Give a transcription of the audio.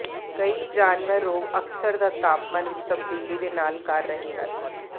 ਕਈ ਜਾਨਵਰ ਰੋਗ ਅਕਸਰ ਦਾ ਤਾਪਮਾਨ ਵਿੱਚ ਤਬਦੀਲੀ ਦੇ ਨਾਲ ਕਰ ਰਹੇ ਹਨ